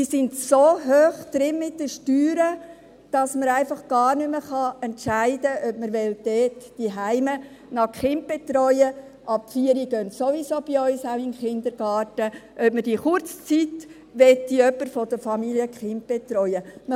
Sie sind so hoch drin mit den Steuern, dass man gar nicht mehr entscheiden kann, ob man die Kinder noch zu Hause betreuen will – ab 4 Jahren gehen sie bei uns sowieso auch in den Kindergarten –, ob für diese kurze Zeit jemand von der Familie die Kinder betreuen möchte.